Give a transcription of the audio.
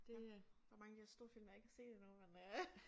Det øh der mange af de her store film jeg ikke har set endnu men øh